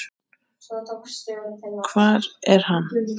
Hvar er hann?